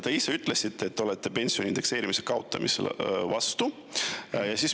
Te ise ütlesite, et te olete pensionide indekseerimise kaotamise vastu.